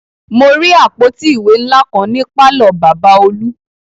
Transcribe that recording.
Mo rí àpótí ìwé ńlá kan ní pàlọ́ Bàbá olú